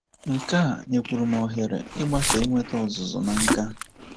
Nke a nyekwuru m ohere ịgbaso inweta ọzụzụ na nkà.